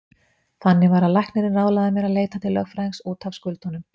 Þannig var að læknirinn ráðlagði mér að leita til lögfræðings út af skuldunum.